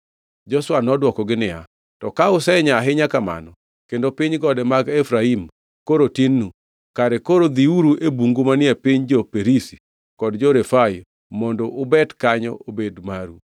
Joshua nodwokogi niya, “To ka usenyaa ahinya kamano kendo piny gode mag Efraim koro tinnu, kare koro dhiuru e bungu manie piny jo-Perizi kod jo-Refai mondo ubet kanyo obed maru.”